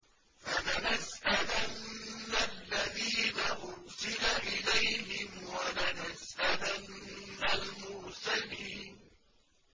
فَلَنَسْأَلَنَّ الَّذِينَ أُرْسِلَ إِلَيْهِمْ وَلَنَسْأَلَنَّ الْمُرْسَلِينَ